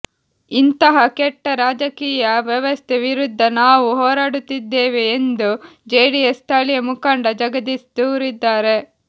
ಇಂತಹ ಕೆಟ್ಟ ರಾಜಕೀಯ ವ್ಯವಸ್ಥೆ ವಿರುದ್ಧ ನಾವು ಹೋರಾಡುತ್ತಿದ್ದೇವೆ ಎಂದು ಜೆಡಿಎಸ್ ಸ್ಥಳೀಯ ಮುಖಂಡ ಜಗದೀಶ್ ದೂರಿದ್ದಾರೆ